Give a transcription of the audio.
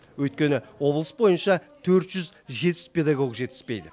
өйткені облыс бойынша төрт жүз жетпіс педагог жетіспейді